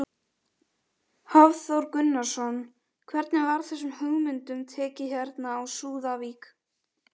Hafþór Gunnarsson: Hvernig var þessum hugmyndum tekið hérna á Súðavík?